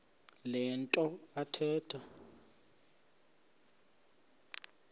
le nto athetha